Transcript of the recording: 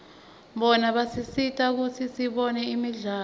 bona basisita kutsi sibone imidlalo